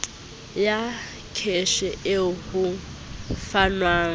ya kheshe eo ho fanwang